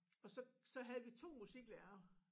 Og så så havde vi 2 musiklærere